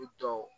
I tɔ